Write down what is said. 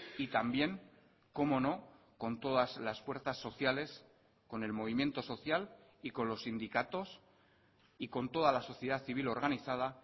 y también cómo no con todas las fuerzas sociales con el movimiento social y con los sindicatos y con toda la sociedad civil organizada